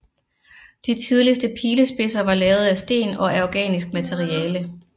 De tidligste pilespidser var lavet af sten og af organisk materiale